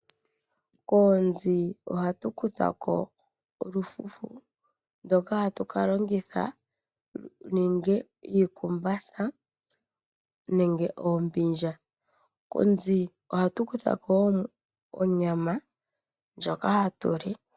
Koonzi ohatu kuthako olufufu ndoka hatu kalongitha okuninga iikumbatha nenge oombindja, koonzi ohatu kuthako woo onyama ndkoja hatu li.